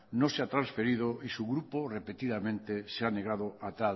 no se ha transferido y su grupo repetidamente se ha negado a